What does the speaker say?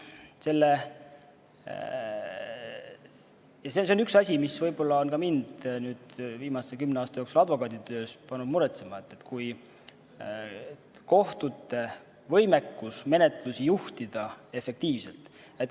Ja see on üks asi, mis on ka mind viimase kümne aasta jooksul pannud advokaaditöös muretsema: kohtute võimekus menetlust efektiivselt juhtida.